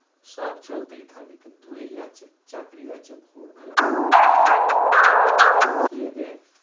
সব চলতেই থাকে কিন্তু এই আছে, চাকরি আছে ।